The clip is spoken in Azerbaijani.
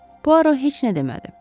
Puaro heç nə demədi.